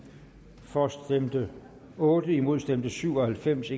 for stemte otte imod stemte syv og halvfems